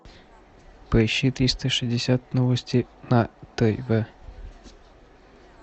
поищи триста шестьдесят новости на тв